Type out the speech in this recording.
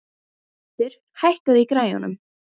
Haddur, hækkaðu í græjunum.